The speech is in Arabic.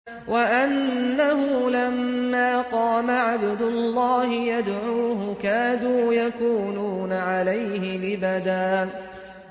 وَأَنَّهُ لَمَّا قَامَ عَبْدُ اللَّهِ يَدْعُوهُ كَادُوا يَكُونُونَ عَلَيْهِ لِبَدًا